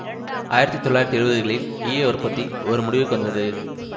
ஆயிரத்தி தொள்ளாயிரத்தி எழுவதுகளில் ஈய உற்பத்தி ஒரு முடிவுக்கு வந்தது